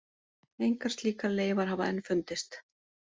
Engar slíkar leifar hafa enn fundist.